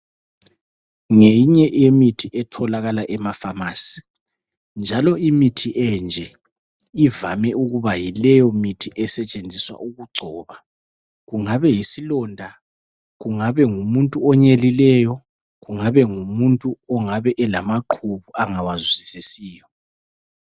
Ngeyinye eyemithi etholakala emafamasi njalo imithi enje ivame ukuba yileyo mithi esetshenziswa ukugcoba kungabe yisilonda, kungabe ngumuntu onyelileyo kungabe ngumuntu olamaqhubu angawazwisisiyo.